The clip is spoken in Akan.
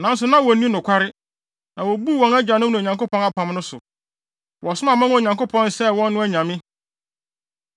Nanso na wonni nokware, na wobuu wɔn agyanom ne Onyankopɔn apam no so. Wɔsom aman a Onyankopɔn sɛee wɔn no anyame.